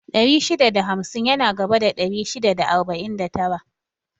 Ɗari shida da hamsin yana gaba da ɗari shida da arba'in da tara